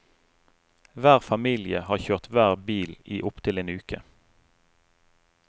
Hver familie har kjørt hver bil i opptil en uke.